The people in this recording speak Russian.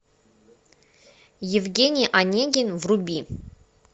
евгений онегин вруби